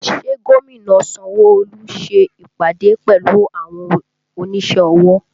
Ṣé gómìnà Sanwo Olu ṣe ìpàdé pẹ̀lú àwọn onísẹ́ ọwọ́